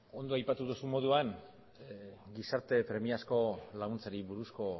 ondo aipatu duzun moduan gizarte premiazko laguntzari buruzko